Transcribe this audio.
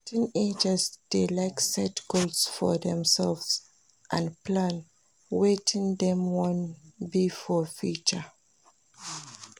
Teenagers de like set goals for themselve and plan wetin dem won be for future